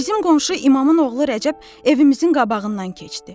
Bizim qonşu İmamın oğlu Rəcəb evimizin qabağından keçdi.